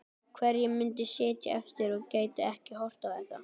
Hverjir myndu sitja eftir og gætu ekki horft á þetta?